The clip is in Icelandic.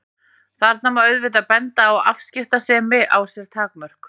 Þarna má auðvitað benda á að afskiptasemi á sér takmörk.